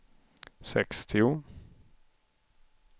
sextio